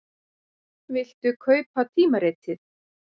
Viltu kaupa tímaritið?